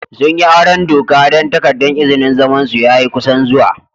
Sun yi auren doka dan takadan izinin zaman su ya yi kusan zuwa.